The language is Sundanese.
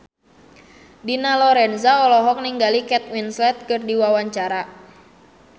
Dina Lorenza olohok ningali Kate Winslet keur diwawancara